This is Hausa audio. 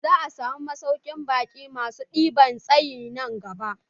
Za'a samu masaukin baƙi masu ɗinbin tsayi nan gaba.